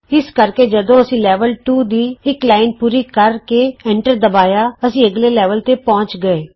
ਇਸ ਕਰਕੇ ਜਦੋਂ ਅਸੀਂ ਲੈਵਲ 2 ਦੀ ਇਕ ਲਾਈਨ ਪੂਰੀ ਕਰ ਕੇ ਐਂਟਰ ਦਬਾਇਆ ਅਸੀਂ ਅਗਲੇ ਲੈਵਲ ਤੇ ਪਹੁੰਚ ਗਏ